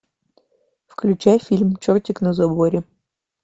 включай фильм чертик на заборе